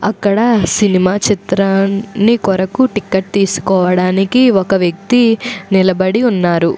అక్కడ సినిమా చిత్రాన్ని కొరకు టికెట్ తీసుకోవడానికి ఒక వ్యక్తి నిలబడి ఉన్నారు.